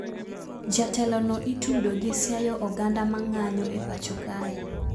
Jatelo no itudo gi siayo oganda mang`anyo e pacho kae